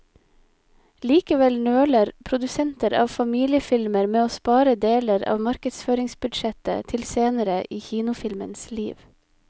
Likevel nøler produsenter av familiefilmer med å spare deler av markedsføringsbudsjettet til senere i kinofilmens liv.